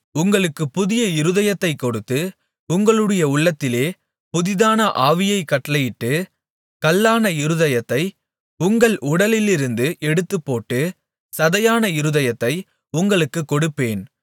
உங்களுக்கு புதிய இருதயத்தைக் கொடுத்து உங்களுடைய உள்ளத்திலே புதிதான ஆவியைக் கட்டளையிட்டு கல்லான இருதயத்தை உங்கள் உடலிலிருந்து எடுத்துப்போட்டு சதையான இருதயத்தை உங்களுக்குக் கொடுப்பேன்